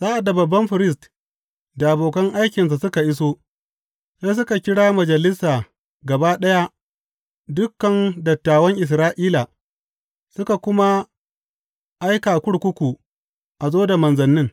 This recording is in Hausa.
Sa’ad da babban firist da abokan aikinsa suka iso, sai suka kira Majalisa gaba ɗaya dukan dattawan Isra’ila, suka kuma aika kurkuku a zo da manzannin.